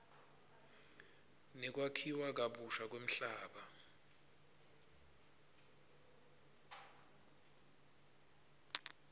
nekwakhiwa kabusha kwemhlaba